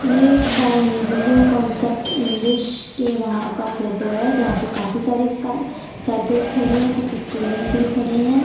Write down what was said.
ये एक the Hinduism concept English के वहां का फोटो है जहां पे काफी सारी साइकिल्स खड़ी हैंकुछ स्टूडेंट्स भी खड़े हैं।